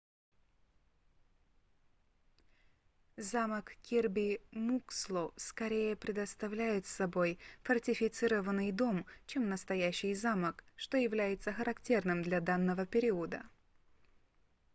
замок кирби муксло скорее представляет собой фортифицированный дом чем настоящий замок что является характерным для данного периода